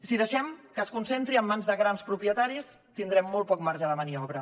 si deixem que es concentri en mans de grans propietaris tindrem molt poc marge de maniobra